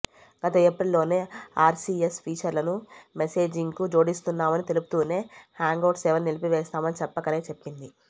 గత ఏప్రిల్లోనే ఆర్సీఎస్ ఫీచర్లను మెసేజింగ్కు జోడిస్తున్నామని తెలుపుతూనే హ్యాంగౌట్స్ సేవలు నిలిపివేస్తామని చెప్పకనే చెప్పింది